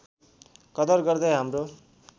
कदर गर्दै हाम्रो